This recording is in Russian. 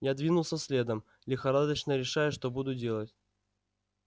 я двинулся следом лихорадочно решая что буду делать